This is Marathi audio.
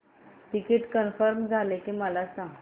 तिकीट कन्फर्म झाले की मला सांग